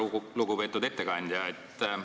Väga lugupeetud ettekandja!